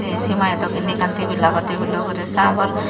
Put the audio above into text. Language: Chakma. hi simaidok inni ekkan tibil agey tibilo ugure sagor.